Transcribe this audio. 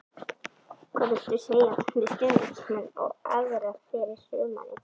Hvað viltu segja við stuðningsmenn og aðra fyrir sumarið?